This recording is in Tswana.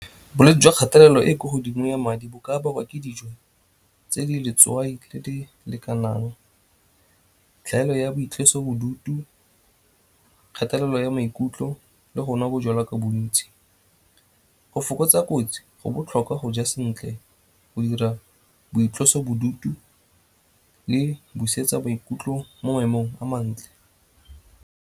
Bolwetse jwa kgatelelo e kwa godimo ya madi bo ka bakwa ke dijo tse di letswai le di lekanang, tlhaelo ya boitlosobodutu, kgatelelo ya maikutlo le gonwa bojalwa ka bontsi. Go fokotsa kotsi go botlhokwa go ja sentle go dira boitlosobodutu le busetsa maikutlo mo maemong a mantle.